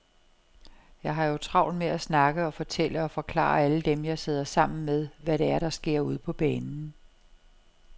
Jeg har jo travlt med at snakke og fortælle og forklare alle dem, jeg sidder sammen med, hvad det er, der sker ude på banen.